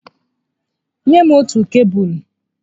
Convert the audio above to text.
Nye m otù kebụlụ